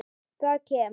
Það kem